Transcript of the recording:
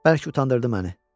Bəlkə utandırdı məni.